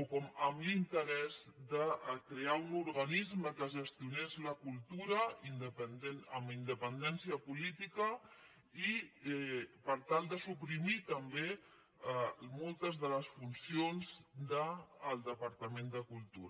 o amb l’interès de crear un organisme que gestionés la cultura amb independència política per tal de suprimir també moltes de les funcions del departament de cultura